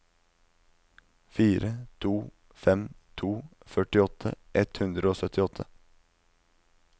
fire to fem to førtiåtte ett hundre og syttiåtte